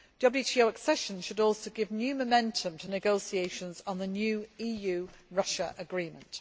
WTO accession should also give new momentum to negotiations on the new EU Russia Agreement.